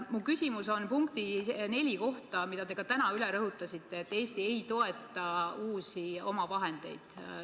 Mu küsimus on neljanda punkti kohta, millega seoses te täna rõhutasite, et Eesti ei toeta uusi omavahendeid.